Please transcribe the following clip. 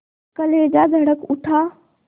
कलेजा धड़क उठा